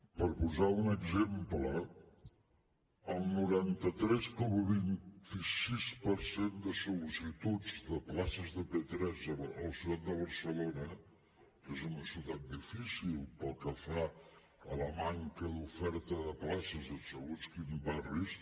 per posar un exemple el noranta tres coma vint sis per cent de sol·licituds de places de p3 a la ciutat de barcelona que és una ciutat difícil pel que fa a la manca d’oferta de places en segons quins barris